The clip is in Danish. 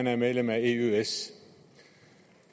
er medlem af eøs